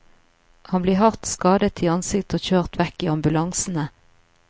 Han blir hardt skadet i ansiktet og kjørt vekk i ambulanse.